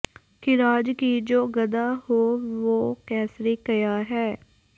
ਖ਼ਿਰਾਜ਼ ਕੀ ਜੋ ਗਦਾ ਹੋ ਵੋਹ ਕੈਸਰੀ ਕਯਾ ਹੈ